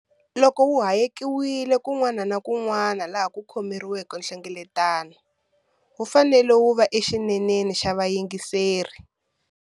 Loko wu hayekiwile kun'wana na kun'wana laha ku khomiweke nhlengeletano, wu fanele wu va exineneni xa vayingiseri.